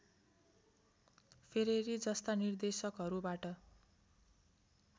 Ferreri जस्ता निर्देशकहरूबाट